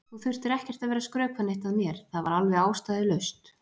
Þú þurftir ekkert að vera að skrökva neitt að mér, það var alveg ástæðulaust.